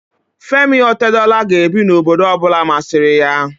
Femi Otedola ga-ebi n'obodo ọ bụla masịrị ya